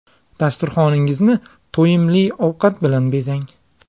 Dasturxoningizni to‘yimli ovqat bilan bezang.